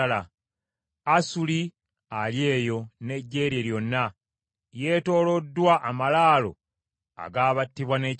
“Asuli ali eyo n’eggye lye lyonna; yeetooloddwa amalaalo ag’abattibwa n’ekitala.